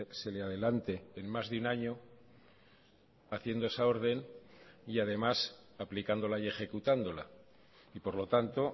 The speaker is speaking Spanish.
se le adelante en más de un año haciendo esa orden y además aplicándola y ejecutándola y por lo tanto